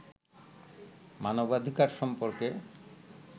মানবাধিকার সম্পর্কে